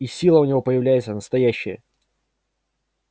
и сила у него появляется настоящая